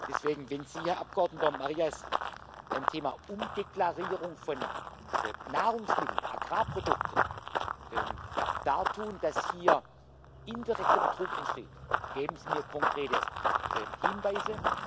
Deswegen Wenn Sie, Herr Abgeordneter Marias, beim Thema Umdeklarierung von Nahrungsmitteln, Agrarprodukten dartun, dass hier indirekter Betrug entsteht, geben Sie mir konkrete Hinweise!